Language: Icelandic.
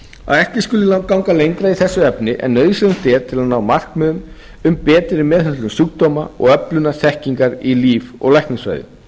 að ekki skuli ganga lengra í þessu efni en nauðsynlegt er til að ná markmiðum um betri meðhöndlun sjúkdóma og öflunar þekkingar í líf og læknisfræði